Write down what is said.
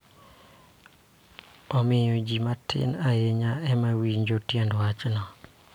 Omiyo, ji matin ahinya ema winjo tiend wachno